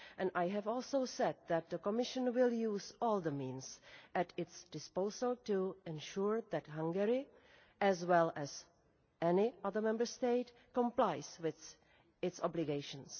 I have also said that the Commission will use all the means at its disposal to ensure that Hungary as well as any other Member State complies with its obligations.